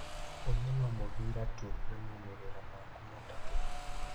ũyũ no mũbĩra tu na maumĩrĩra maku matatũ.